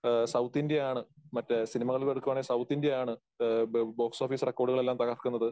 ആ സൗത്ത് ഇന്ത്യയാണ് മറ്റേ സിനിമകൾ എടുക്കുവാണെങ്കിൽ സൗത്ത് ഇന്ത്യയാണ് ആ ബ ബോക്സ് ഓഫീസ് റെക്കോർഡുകളെല്ലാം തകർക്കുന്നത്.